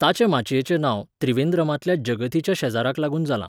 ताचें माचयेचें नांव त्रिवेंद्रमांतल्या जगथीच्या शेजाराक लागून जालां.